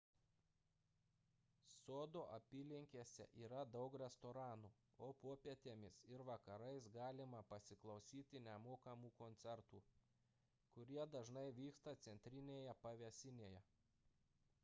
sodo apylinkėse yra daug restoranų o popietėmis ir vakarais galima pasiklausyti nemokamų koncertų kurie dažnai vyksta centrinėje pavėsinėje